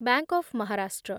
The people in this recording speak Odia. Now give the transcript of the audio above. bank of Maharashtra